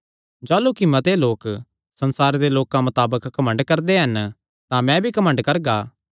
जाह़लू कि मते लोक संसारे दे लोकां मताबक घमंड करदे हन तां मैं भी घमंड करगा